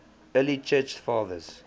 early church fathers